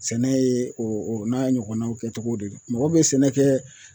Sɛnɛ ye o o n'a ɲɔgɔnnaw kɛcogo de don mɔgɔ be sɛnɛ kɛ